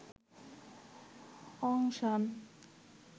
অং সান